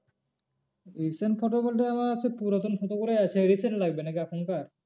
Recent photo বলতে আমার সেই পুরাতন photo গুলো আছে recent লাগবে নাকি এখনকার?